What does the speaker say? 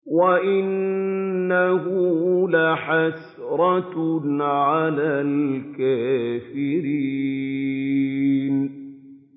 وَإِنَّهُ لَحَسْرَةٌ عَلَى الْكَافِرِينَ